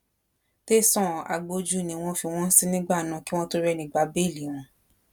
tẹsán agbójú ni wọn fi wọn sí nígbà náà kí wọn tóó rẹni gba bẹẹlí wọn